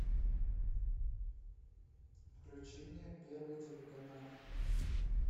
включи мне первый телеканал